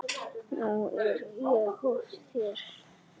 Nú er ég föst hér.